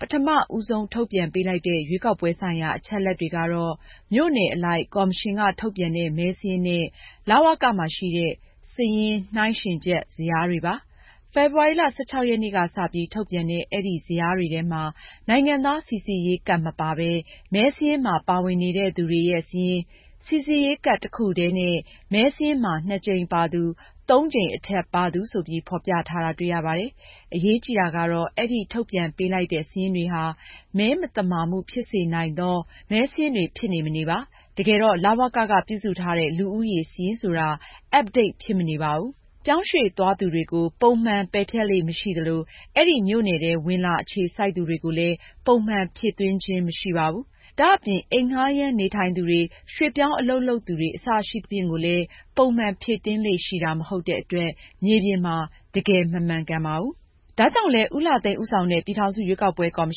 ပထမ ဦးဆုံး ထုတ်ပြန်ပေးလိုက်တဲ့ ရွေးကောက်ပွဲ ဆိုင်ရာ အချက်အလက်တွေကတော့ မြို့နယ်အလိုက် ကော်မရှင်က ထုတ်ပြန်တဲ့ မဲစာရင်းနဲ့ လဝက မှာ ရှိတဲ့ စာရင်း နှိုင်းယှဉ်ချက် ဇယားတွေပါ။ ဖေဖေါ်ဝါရီ ၁၆ ရက်နေ့က စပြီး ထုတ်ပြန်တဲ့ အဲဒီ ဇယားတွေထဲမှာ နိုင်ငံသား စိစစ်ရေးကဒ် မပါပဲ မဲစာရင်းမှာ ပါဝင်နေတဲ့သူတွေရဲ့ စာရင်း၊ စိစစ်ရေးကဒ် တစ်ခုထဲနဲ့ မဲစာရင်းမှာ (၂)ကြိမ်ပါသူ၊ (၃) ကြိမ် အထက် ပါသူ ဆိုပြီး ဖော်ပြထားတာ တွေ့ရပါတယ်။ အရေးကြီးတာကတော့ အဲဒီ ထုတ်ပြန်ပေးလိုက်တဲ့ စာရင်းတွေဟာ “မဲမသမာမှု ဖြစ်စေနိုင်သော” မဲစာရင်းတွေ ဖြစ်နေ၊ မနေပါ။ တကယ်တော့ လဝက က ပြုစုထားတဲ့ လူဦးရေ စာရင်းဆိုတာ up-date ဖြစ်မနေပါဘူး။ ပြောင်းရွှေ့သွားသူတွေ ကို ပုံမှန် ပယ်ဖျက်လေ့ မရှိသလို၊ အဲဒီ မြို့နယ်ထဲ ဝင်လာ အခြေစိုက်သူတွေကိုလည်း ပုံမှန် ဖြည့်သွင်းခြင်း မရှိပါဘူး။ ဒါ့အပြင် အိမ်ငှားရမ်း နေထိုင်သူတွေ၊ ရွှေ့ပြောင်း အလုပ်လုပ်သူတွေ အစရှိသဖြင့်ကိုလည်း ပုံမှန်ဖြည့်တင်းလေ့ ရှိတာ မဟုတ်တဲ့ အတွက် မြေပြင်မှာ တကယ် မမှန်ကန်ပါဘူး။ ဒါကြောင့်လည်း ဦးလှသိန်း ဦးဆောင်တဲ့ ပြည်ထောင်စု ရွေးကောက်ပွဲ ကော်မ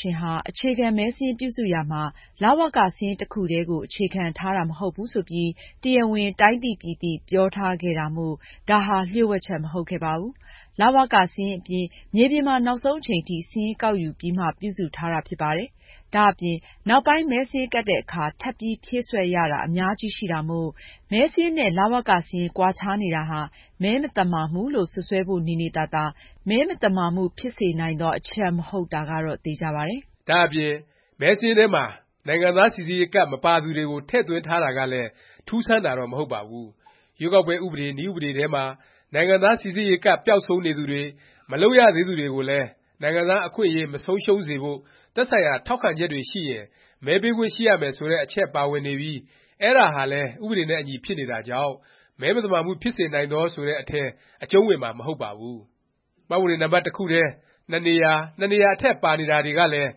ရှင်ဟာ အခြေခံ မဲစာရင်း ပြုစုရာမှာ လဝက စာရင်း တစ်ခုတည်းကို အခြေခံထားတာ မဟုတ်ဘူး ဆိုပြီး တရားဝင် တိုင်းသိပြည်သိ ပြောထားခဲ့တာမို့ ဒါဟာ လျှို့ဝှက်ချက် မဟုတ်ခဲ့ပါဘူး။ လဝက စာရင်း အပြင် မြေပြင်မှာ နောက်ဆုံး အချိန်ထိ စာရင်းကောက်ယူပြီးမှ ပြုစုထားတာ ဖြစ်ပါတယ်။ ဒါ့အပြင် နောက်ပိုင်း မဲစာရင်းကပ်တဲ့အခါ ထပ်ပြီး ဖြည့်စွက်ရတာ အများကြီးရှိတာမို့ မဲစာရင်းနဲ့ လဝက စာရင်း ကွာခြားနေတာဟာ “မဲမသမာမှု” လို့ စွပ်စွဲဖို့ နေနေသာသာ “မဲမသမာမှု ဖြစ်စေနိုင်သော” အချက် မဟုတ်တာကတော့ သေခြာပါတယ်။ ဒါ့အပြင် မဲစာရင်းထဲမှာ နိုင်ငံသားစိစစ်ရေးကဒ် မပါသူတွေကို ထည့်သွင်းထားတာကလည်း ထူးဆန်းတာတော့ မဟုတ်ပါဘူး။ ရွေးကောက်ပွဲ ဥပဒေ၊ နည်းဥပဒေထဲမှာ နိုင်ငံသား စိစစ်ရေးကဒ် ပျောက်ဆုံးနေသူတွေ၊ မလုပ်ရသေးသူတွေကိုလည်း နိုင်ငံသား အခွင့်အရေး မဆုံးရှုံးစေဖို့ သက်ဆိုင်ရာ ထောက်ခံချက်တွေ ရှိရင် မဲပေးခွင့်ရှိရမယ် ဆိုတဲ့ အချက်ပါဝင်နေပြီး အဲဒါဟာလည်း ဥပဒေနဲ့ အညီ ဖြစ်နေတာကြောင့် “မဲမသမာမှု ဖြစ်စေနိုင်သော” ဆိုတဲ့ အထဲ အကျုံးဝင်မှာ မဟုတ်ပါဘူး။ မှတ်ပုံတင်နံပတ် တစ်ခုထဲ ၂ နေရာ၊ ၂ နေရာ အထက် ပါနေတာတွေကလည်း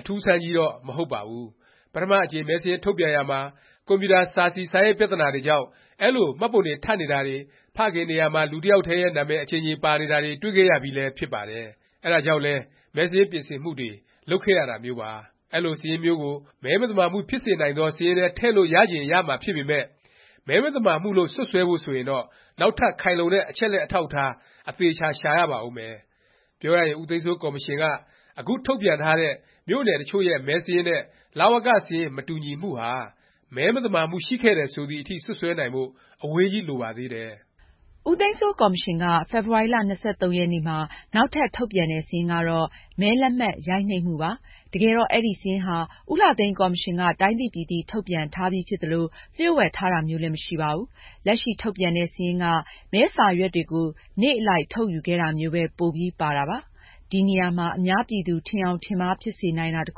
အထူးအဆန်းကြီးတော့ မဟုတ်ပါဘူး။ ပထမအကြိမ် မဲစာရင်း ထုတ်ပြန်ရာမှာ ကွန်ပျူတာ စာစီ စာရိုက်ပြသနာတွေကြောင့် အဲလို မှတ်ပုံတင် ထပ်နေတာတွေ၊ ဖခင်နေရာမှာ လူတစ်ယောက်ထဲရဲ့ နာမည် အကြိမ်ကြိမ် ပါနေတာတွေ တွေ့ခဲ့ရပြီးလည်း ဖြစ်ပါတယ်။ အဲဒါကြောင့်လည်း မဲစာရင်း ပြင်ဆင်မှုတွေ လုပ်ခဲ့ရတာမျိုးပါ။ အဲလို စာရင်းမျိုးကို “မဲမသမာမှု ဖြစ်စေနိုင်သော” စာရင်းထဲ ထည့်လို့ရချင် ရမှာ ဖြစ်ပေမယ့် “မဲမသမာမှု” လို့ စွပ်စွဲဖို့ ဆိုရင်တော့ နောက်ထပ် ခိုင်လုံတဲ့ အချက်အလက် အထောက်အထား အသေအခြာ ရှာရပါဦးမယ်။ ပြောရရင် ဦးသိန်းစိုး ကော်မရှင်က အခု ထုတ်ပြန်ထားတဲ့ မြို့နယ် တစ်ချို့ရဲ့ မဲစာရင်း နဲ့ လဝက စာရင်း မတူညီမှုဟာ “မဲမသမာမှု” ရှိခဲ့တယ် ဆိုသည်အထိ စွပ်စွဲနိုင်ဖို့ အဝေးကြီး လိုပါသေးတယ်။ ဦးသိန်းစိုး ကော်မရှင်က ဖေဖေါ်ဝါရီ ၂၃ ရက်နေ့မှာ နောက်ထပ် ထုတ်ပြန်တဲ့ စာရင်းကတော့ မဲလက်မှတ် ရိုက်နှိပ်မှုပါ။ တကယ်တော့ အဲဒီ စာရင်းဟာ ဦးလှသိန်းကော်မရှင်က တိုင်းသိပြည်သိ ထုတ်ပြန်ထားပြီး ဖြစ်သလို လျှို့ဝှက်ထားတာမျိုးလည်း မရှိပါဘူး။ လက်ရှိ ထုတ်ပြန်တဲ့ စာရင်းက မဲစာရွက်တွေကို နေ့အလိုက် ထုတ်ယူခဲ့တာမျိုးပဲ ပိုပြီး ပါတာပါ။ ဒီနေရာမှာ အများပြည်သူ ထင်ယောင် ထင်မှားဖြစ်စေနိုင်တာ တစ်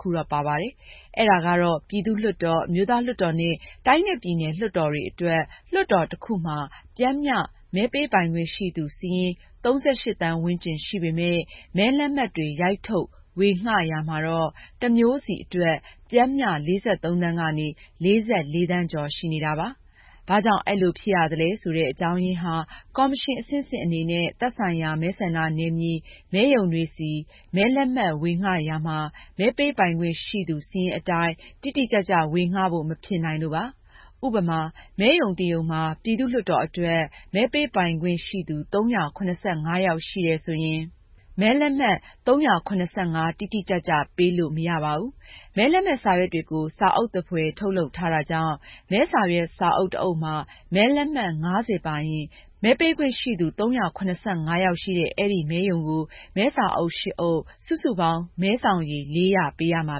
ခုတော့ ပါပါတယ်။ အဲဒါကတော့ ပြည်သူ့လွှတ်တော်၊ အမျိုးသားလွှတ်တော် နဲ့ တိုင်းနဲ့ပြည်နယ် လွှတ်တော်တွေ အတွက် လွှတ်တော် တစ်ခုမှာ ပျမ်းမျှ မဲပေးပိုင်ခွင့် ရှိသူ စာရင်း ၃၈ သန်းဝန်းကျင် ရှိပေမယ့် မဲလက်မှတ်တွေ ရိုက်ထုတ် ဝေငှရာမှာတော့ တစ်မျိုးစီ အတွက် ပျမ်းမျှ ၄၃ သန်း ကနေ ၄၄ သန်းကျော် ရှိနေတာပါ။ ဘာကြောင့် အဲလို ဖြစ်ရသလဲ ဆိုတဲ့ အကြောင်းရင်းဟာ ကော်မရှင် အဆင့်ဆင့် အနေနဲ့ သက်ဆိုင်ရာ မဲဆန္ဒနယ်မြေ မဲရုံတွေဆီ မဲလက်မှတ် ဝေငှရာမှာ မဲပေးပိုင်ခွင့် ရှိသူ စာရင်းအတိုင်း တိတိကျကျ ဝေငှဖို့ မဖြစ်နိုင်လို့ပါ။ ဥပမာ မဲရုံတစ်ရုံမှာ ပြည်သူ့လွှတ်တော် အတွက် မဲပေးပိုင်ခွင့်ရှိသူ ၃၇၅ ယောက်ရှိတယ် ဆိုရင် မဲလက်မှတ် ၃၇၅ တိတိကျကျ ပေးလို့ မရပါဘူး။ မဲလက်မှတ်စာရွက်တွေကို စာအုပ်သဖွယ် ထုတ်လုပ်ထားတာကြောင့် မဲစာရွက် စာအုပ် တစ်အုပ်မှာ မဲလက်မှတ် ၅၀ ပါရင်၊ မဲပေးခွင့်ရှိသူ ၃၇၅ ယောက်ရှိတဲ့ အဲဒီ မဲရုံကို မဲစာအုပ် ၈ အုပ်၊ စုစုပေါင်း မဲစောင်ရေ ၄၀၀ ပေးရမှာ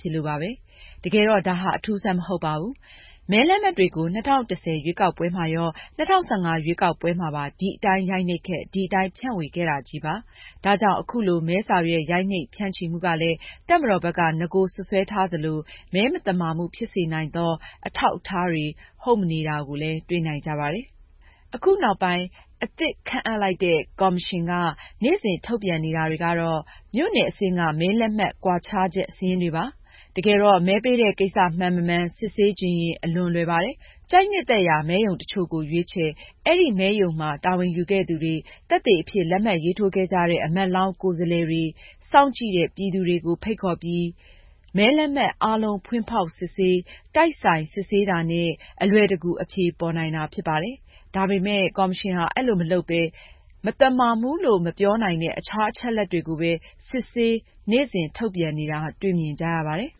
ဖြစ်လို့ပါပဲ။ တကယ်တော့ ဒါဟာ အထူးအဆန်း မဟုတ်ပါဘူး။ မဲလက်မှတ်တွေကို ၂၀၁၀ ရွေးကောက်ပွဲမှာရော၊ ၂၀၁၅ ရွေးကောက်ပွဲမှာပါ ဒီအတိုင်း ရိုက်နှိပ်ခဲ့၊ ဒီအတိုင်း ဖြန့်ဝေခဲ့တာချည်းပါ။ ဒါကြောင့် အခုလို မဲစာရွက် ရိုက်နှိပ် ဖြန့်ချီမှုကလည်း တပ်မတော်ဘက်က နဂို စွပ်စွဲထားသလို “ မဲမသမာမှု ဖြစ်စေနိုင်သော” အထောက်အထားတွေ ဟုတ်မနေတာကိုလည်း တွေ့နိုင်ကြပါတယ်။ အခုနောက်ပိုင်း အသစ်ခန့် ကော်မရှင်က နေ့စဉ် ထုတ်ပြန်နေတာတွေကတော့ မြို့နယ်အဆင့်က မဲလက်မှတ် ကွာခြားချက် စာရင်းတွေပါ။ တကယ်တော့ မဲပေးတဲ့ ကိစ္စ မှန်မမှန် စစ်ဆေးချင်ရင် အလွန်လွယ်ပါတယ်။ ကြိုက်နှစ်သက်ရာ ကျပန်း မဲရုံ တစ်ချို့ကို ရွေးချယ်၊ အဲဒီ မဲရုံမှာ တာဝန်ယူခဲ့သူတွေ၊ သက်သေအဖြစ် လက်မှတ် ရေးထိုးခဲ့ကြတဲ့ အမတ်လောင်း ကိုယ်စားလှယ်တွေ၊ စောင့်ကြည့်တဲ့ ပြည်သူတွေကို ဖိတ်ခေါ်ပြီး မဲလက်မှတ် အားလုံး ဖွင့်ဖေါက်စစ်ဆေး၊ တိုက်ဆိုင် စစ်ဆေးတာနဲ့ အလွယ်တကူ အဖြေပေါ်နိုင်တာ ဖြစ်ပါတယ်။ ဒါပေမယ့် ကော်မရှင်ဟာ အဲလို မလုပ်ပဲ မသမာမှုလို့ မပြောနိုင်တဲ့ အခြား အချက်အလက်တွေကိုပဲ စစ်ဆေး နေ့စဉ် ထုတ်ပြန်နေတာ တွေ့မြင်ကြရပါတယ်။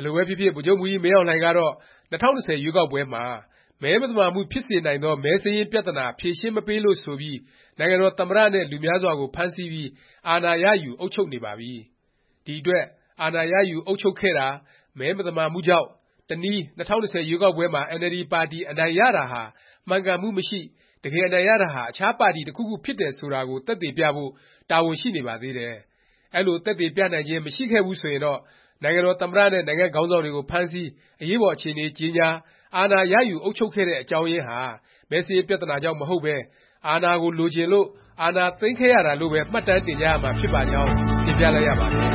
ဘယ်လိုပဲဖြစ်ဖြစ် ဗိုလ်ချုပ်မှူးကြီး မင်းအောင်လှိုင်ကတော့ ၂၀၂၀ ရွေးကောက်ပွဲမှာ “ မဲမသမာမှု ဖြစ်စေနိုင်သော မဲစာရင်း” ပြသနာ ဖြေရှင်းမပေးလို့ ဆိုပြီး နိုင်ငံတော် သမ္မတ နဲ့ လူများစွာကို ဖမ်းဆီးပြီး အာဏာရယူ အုပ်ချုပ်နေပါပြီ။ ဒီအတွက် အာဏာရယူ အုပ်ချုပ်ခဲ့တာ မဲမသမာမှုကြောင့်၊ တနည်း ၂၀၂၀ ရွေးကောက်ပွဲမှာ အင်န်အယ်လ်ဒီ ပါတီ အနိုင်ရတာဟာ မှန်ကန်မှု မရှိ၊ တကယ် အနိုင်ရတာဟာ အခြားပါတီ တစ်ခုခု ဖြစ်တယ် ဆိုတာကို သက်သေပြဖို့ တာဝန်ရှိနေပါသေးတယ်။ အဲလို သက်သေပြနိုင်ခြင်း မရှိခဲ့ဘူး ဆိုရင်တော့ နိုင်ငံတော် သမ္မတ နဲ့ နိုင်ငံ့ခေါင်းဆောင်တွေကို ဖမ်းဆီး၊ အရေးပေါ် အခြေအနေ ကြေညာ၊ အာဏာရယူ အုပ်ချုပ်ခဲ့တဲ့ အကြောင်းရင်းဟာ မဲစာရင်း ပြသနာကြောင့် မဟုတ်ပဲ၊ အာဏာလိုချင်လို့ အာဏာသိမ်းခဲ့ရတာလို့ပဲ မှတ်တမ်းတင်ကြရမှာ ဖြစ်ပါကြောင်း တင်ပြလိုက်ရပါတယ်။